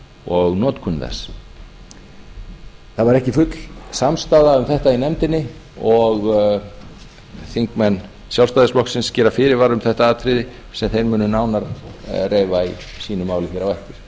og notkun þess það var ekki full samstaða um þetta í nefndinni og þingmenn sjálfstæðisflokksins gera fyrirvara um þetta atriði sem þeir munu nánar reifa í sínu máli hér á eftir